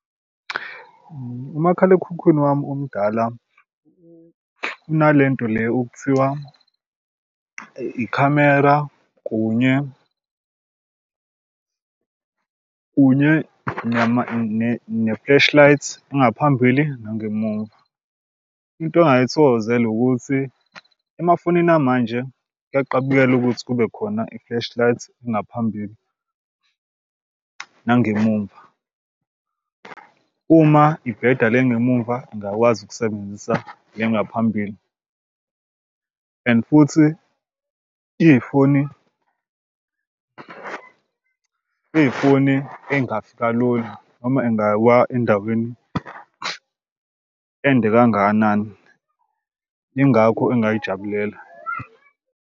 Umakhalekhukhwini wami omdala unale nto le okuthiwa ikhamera kunye kunye ne-flashlight engaphambili nangemuva. Into ongayithokozela ukuthi emafonini amanje kuyaqabukela ukuthi kube khona i-flashlight engaphambili nangemuva. Uma ibheda le engemumva ngiyakwazi ukusebenzisa le yangaphambili and futhi iyifoni iyifoni engafi kalula noma ingawa endaweni ende kangakanani. Yingakho engayijabulela.